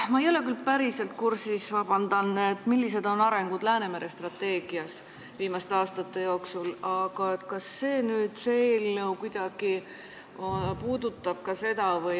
Ma ei ole küll päriselt kursis, kuidas Läänemere strateegia on viimaste aastate jooksul arenenud, aga küsin, kas see eelnõu nüüd kuidagi puudutab ka seda.